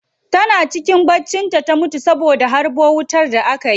Tana cikin bacci ta mutu a gidan ta saboda harbo wutan da aka yi